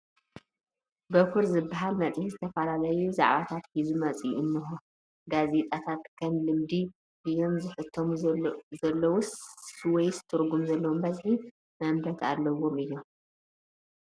በኲር ዝበሃል መፅሄት ዝተፈላለዩ ዛዕባታት ሒዙ ወፂኡ እኒሆ፡፡ ጋዜጣታት ከም ልምዲ ድዮም ዝሕተሙ ዘለዉስ ወይ ትርጉም ዘለዎም በዝሒ መንበብቲ ኣለዎም እዮም?